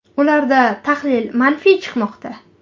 Ularda tahlil manfiy chiqmoqda.